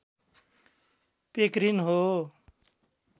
पेक्रिन हो